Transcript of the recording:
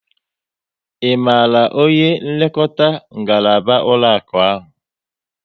Ị maara onye nlekọta ngaraba ụlọakụ ahụ?